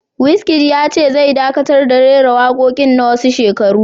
Wizkid ya ce zai dakatar da raira waƙoƙin na wasu shekaru